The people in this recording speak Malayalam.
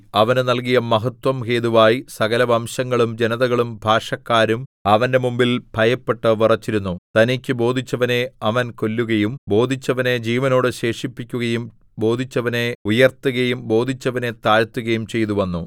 അവന് നല്കിയ മഹത്വം ഹേതുവായി സകലവംശങ്ങളും ജനതകളും ഭാഷക്കാരും അവന്റെ മുമ്പിൽ ഭയപ്പെട്ട് വിറച്ചിരുന്നു തനിക്കു ബോധിച്ചവനെ അവൻ കൊല്ലുകയും ബോധിച്ചവനെ ജീവനോടെ ശേഷിപ്പിക്കുകയും ബോധിച്ചവനെ ഉയർത്തുകയും ബോധിച്ചവനെ താഴ്ത്തുകയും ചെയ്തുവന്നു